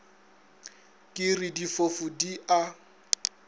ke re difofu di a